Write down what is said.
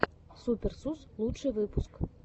супер сус лучший выпуск